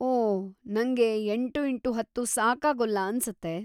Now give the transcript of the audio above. ಓ, ನಂಗೆ ಎಂಟು ಇಂಟು ಹತ್ತು ಸಾಕಾಗೊಲ್ಲ ಅನ್ಸುತ್ತೆ.